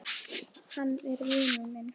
Hann er vinur minn.